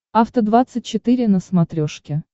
афта двадцать четыре на смотрешке